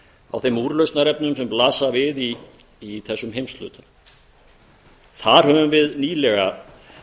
á þeim úrlausnarefnum sem blasa við í þessum heimshluta þar höfum við nýlega